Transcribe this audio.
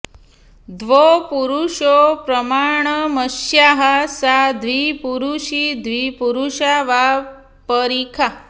द्वौ पुरुषौ प्रमाणमस्याः सा द्विपुरुषी द्विपुरुषा वा परिखा